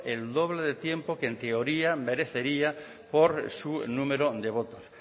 el doble de tiempo que en teoría merecería por su número de votos